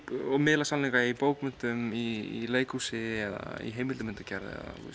og miðlað sannleikanum í bókmenntum í leikhúsi eða í heimildamyndagerð